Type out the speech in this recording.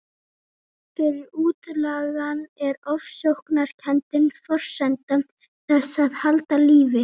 Fyrir útlagann er ofsóknarkenndin forsenda þess að halda lífi.